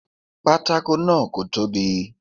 Pátákó náà kò tóbi.